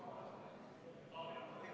Me oleme täna nendes situatsioonides, kus me oleme.